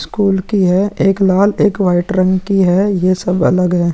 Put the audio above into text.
School की है। एक लाल एक वाइट रंग की है। ये सब अलग है।